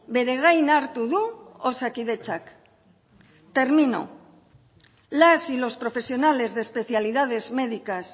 bere gain hartu du osakidetzak termino las y los profesionales de especialidades médicas